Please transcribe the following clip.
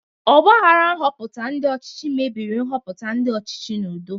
Ọgbaghara nhoputa ndi ochichi mebiri nhoputa ndi ochichi n'udo.